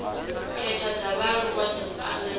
khetha dza vhaaluwa dzo anganelaho